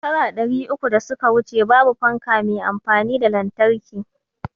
Shekara ɗari uku da suka wuce babu fanka me amfani da lantarki